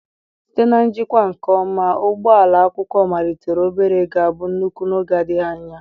Site na njikwa nke ọma, ugbo ụlọ akwụkwọ malitere obere ga-abụ nnukwu n'oge adịghị anya.